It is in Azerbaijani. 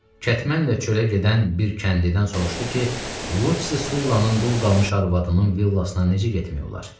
Kətmənlə çölə gedən bir kəndlidən soruşdu ki, Lusi Sullanın dul qalmış arvadının villasına necə getmək olar?